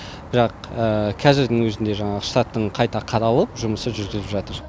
бірақ қазірдің өзінде жаңағы штаттың қайта қаралып жұмысы жүргізіліп жатыр